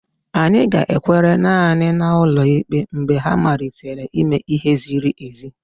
Anyị ga-ekwere naanị na ụlọ ikpe mgbe ha malitere ime ihe ziri ezi.